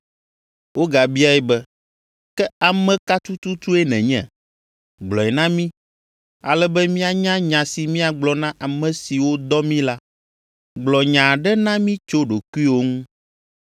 Wogabiae be, “Ke ame ka tututue nènye? Gblɔe na mí, ale be míanya nya si míagblɔ na ame siwo dɔ mí la. Gblɔ nya aɖe na mí tso ɖokuiwò ŋu.”